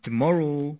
29th February